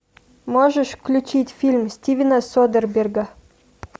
можешь включить фильм стивена содерберга